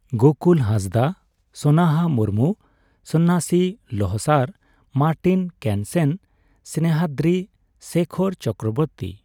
Gokul Hansda, Sonaha Murmu, Sonnasi Lohsar, Martin Kensen, Snehadri Sekhar Chakraborty